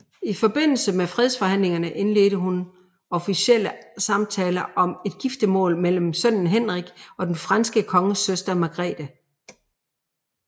I forbindelse med fredsforhandlingerne indledte hun officielle samtaler om et giftemål mellem sønnen Henrik og den franske konges søster Margarete